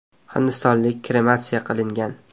Hindistonlik krematsiya qilingan.